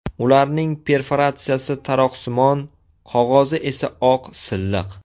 Ularning perforatsiyasi taroqsimon, qog‘ozi esa oq silliq.